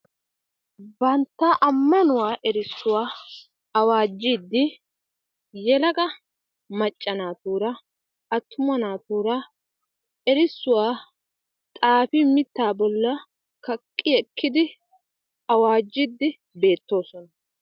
Bantta ammanuwa erissuwa awaajjiiddi yelaga macca naatuura attuna naatuura erissuwa xaafi mittaa bolli kaqqi wottidi awaajjiiddi beettoosona.